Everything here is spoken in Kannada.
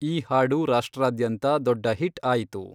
ಈ ಹಾಡು ರಾಷ್ಟ್ರದಾದ್ಯಂತ ದೊಡ್ಡ ಹಿಟ್ ಆಯಿತು.